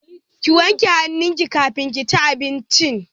Ki wanke hannun ki kafin kici abincin